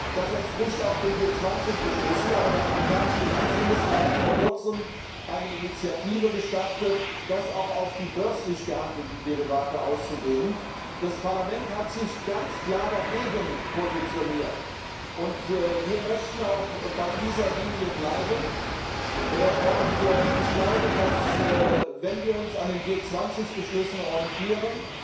Dies entspricht auch den G20 Beschlüssen. Aber der amerikanische Finanzminister hat vor kurzem eine Initiative gestartet, dies auch auf die börslich gehandelten Derivate auszudehnen. Das Parlament hat sich ganz klar dagegen positioniert. Wir möchten auch bei dieser Linie bleiben. Ich glaube, dass es auch eine vernünftige Linie ist, wenn wir uns an den G20 Beschlüssen orientieren.